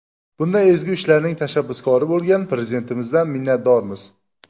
Bunday ezgu ishlarning tashabbuskori bo‘lgan Prezidentimizdan minnatdormiz.